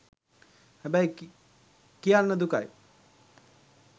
හැබැයි කියන්න දුකයි